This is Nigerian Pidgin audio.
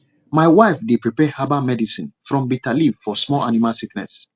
my wife dey prepare herbal medicine from bitter leaf for small animal sickness